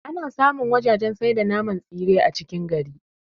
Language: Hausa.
Ana samu wajajen sai da naman tsire a cikin gari